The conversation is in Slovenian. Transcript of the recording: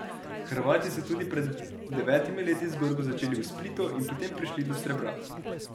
Hrvati so tudi pred devetimi leti zgodbo začeli v Splitu in potem prišli do srebra.